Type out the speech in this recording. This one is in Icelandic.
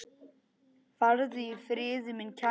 Farðu í friði, minn kæri.